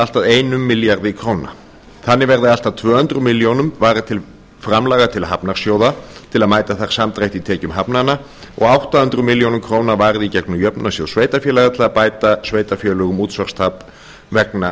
allt að einum milljarði króna þannig verði allt að tvö hundruð milljóna króna varið til framlaga til hafnarsjóða til að mæta þar samdrætti í tekjum hafnanna og átta hundruð milljóna króna varið í gegnum jöfnunarsjóð sveitarfélaga til þess að bæta sveitarfélögum útsvarstap vegna